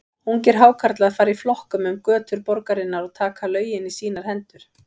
Ungir Hákarlar fara í flokkum um götur borgarinnar og taka lögin í sínar hendur.